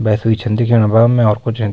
भैंस भी छन दिखेंणा भ और मैं कुछ नि।